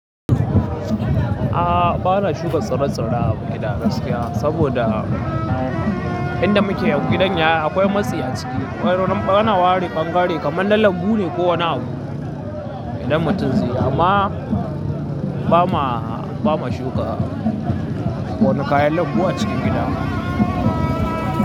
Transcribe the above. A ba na shuka tsira-tsira a gida gaskiya, saboda inda muke yau gidan yaya akwai matsi a ciki. A na ware ɓangare kaman na lanbu ne ko wani abu idan mutum zai yi amma ba mu shuka wani kayan lambu a cikin gida.